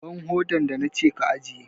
Ban hodar da na ce ka ajiye!